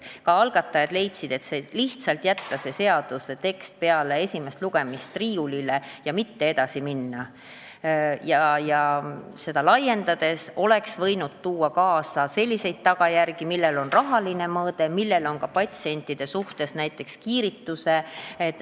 Ka algatajad leidsid, et ei maksa lihtsalt jätta seda seaduse teksti peale esimest lugemist riiulile ja mitte edasi minna, kuid loetelu laiendamine oleks võinud tuua kaasa selliseid tagajärgi, millel on rahaline mõõde ja mille mõju patsientidele võib olla teadmata, pean silmas näiteks kiiritust.